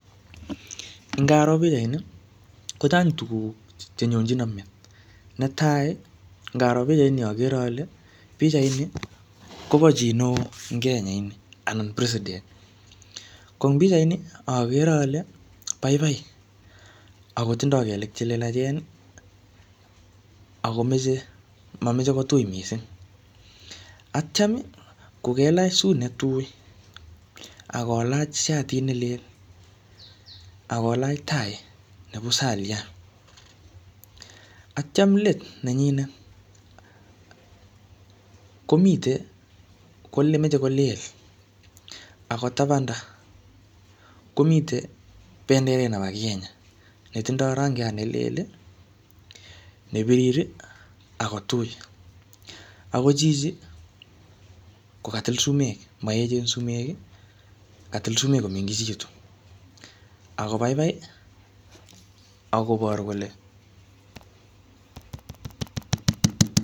Ingaro pichait ni, kochang tuguk chenyonychino met. Netai, ngaro pichait ni agere ale pichait ni, kobo chii neoo ing Kenya ini, anan president. Ko ing pichait ni, agere ale baibai, akotindoi kelek che lelachen, akomeche mameche kotui missing. Atyam kokelach suit ne tui, akolach shatit ne lel, akolach tai ne pusaliat. Atyam let nenyinet, komite ngor ne meche kolel. Akotabanda, komitei benderet nebo Kenya ne tindoi rangiat ne lel, ne birir, ako tui. Ako chichi, ko katil sumek, maechen sumek, katil sumek komengechitu. Akobaibai, akoboru kole